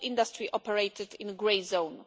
The whole industry operated in a grey zone.